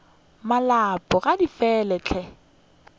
malopo ga di fele he